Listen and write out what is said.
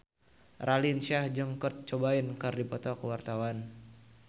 Raline Shah jeung Kurt Cobain keur dipoto ku wartawan